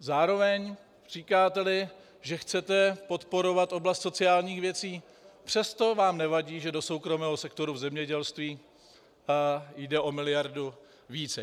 Zároveň říkáte, že chcete podporovat oblast sociálních věcí, přesto vám nevadí, že do soukromého sektoru v zemědělství jde o miliardu více.